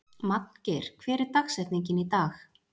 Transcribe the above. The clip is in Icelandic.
Magngeir, hver er dagsetningin í dag?